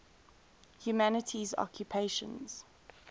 humanities occupations